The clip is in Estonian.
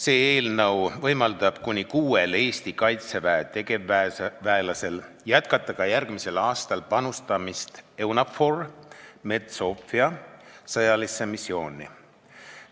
See eelnõu võimaldab kuni kuuel Eesti Kaitseväe tegevväelasel jätkata ka järgmisel aastal panustamist EUNAVFOR Med/Sophia sõjalisse missiooni.